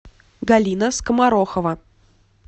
галина скоморохова